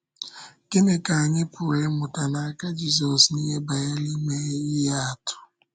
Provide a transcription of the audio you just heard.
Gịnị ka anyị pụrụ ịmụta n’aka Jízọs n’ihe banyere ime ihe atụ?